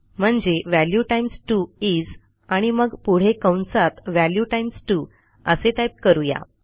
म्हणजे value times 2 is आणि मग पुढे कंसात व्हॅल्यू टाईम्स 2 असे टाईप करू या